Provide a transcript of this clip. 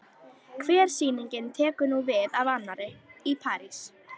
Hver sýningin tekur nú við af annarri- Í París